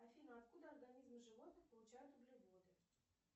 афина откуда организмы животных получают углеводы